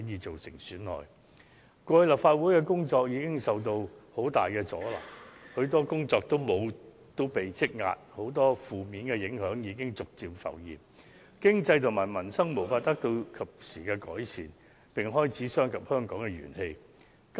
立法會以往的工作已受到極大阻撓，積壓大量工作，許多負面影響已陸續浮現，致使經濟及民生無法及時得到改善，並已損及香港的元氣。